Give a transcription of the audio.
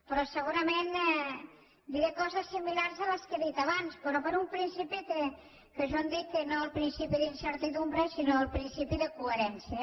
però segurament diré coses similars a les que he dit abans però per un principi que jo en dic no el principi d’incertesa sinó el principi de coherència